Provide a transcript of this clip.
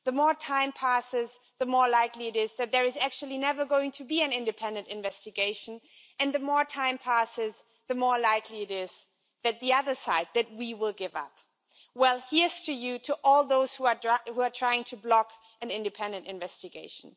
The more time passes, the more likely it is there is actually never going to be an independent investigation, and the more time passes, the more likely it is the other side we will give up. Well, this is to all those who are trying to block an independent investigation.